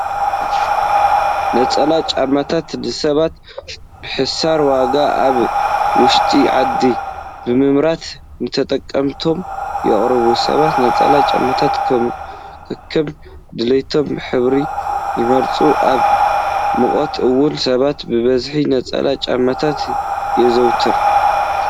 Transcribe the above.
ነፀላ ጫማታት ንሰባት ብሕሳር ዋጋ ኣብ ውሽጢ ዓዲ ብምምራት ንተጠቀምቶም የቅርቡ። ሰባት ነፀላ ጫማታት ከከም ድሌቶም ብህብሪ ይመርፅዎም። ኣብ ሙቀት እዋን ሰባት በበዝሒ ነፀላ ጫማታት የዘውትሩ።